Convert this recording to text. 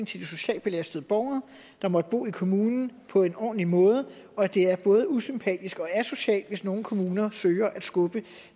til de socialt belastede borgere der måtte bo i kommunen på en ordentlig måde og at det er både usympatisk og asocialt hvis nogle kommuner søger at skubbe